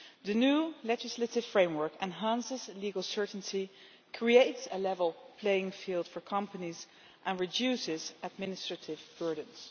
The new legislative framework enhances legal certainty, creates a level playing field for companies and reduces administrative burdens.